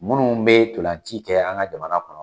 Munnu be ntolanci kɛ an ka jamana kɔnɔ